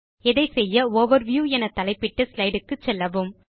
இதை செய்ய ஓவர்வியூ என தலைப்பிட்ட ஸ்லைடு க்கு செல்லவும்